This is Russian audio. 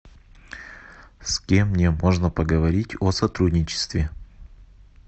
с кем мне можно поговорить о сотрудничестве